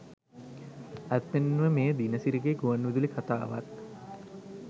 ඇත්තෙන්ම මෙය දිනසිරිගේ ගුවන්විදුලි කතාවක්